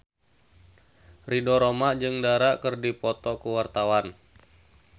Ridho Roma jeung Dara keur dipoto ku wartawan